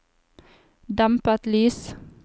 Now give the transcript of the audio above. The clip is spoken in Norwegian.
dempet lys